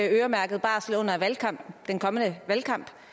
øremærket barsel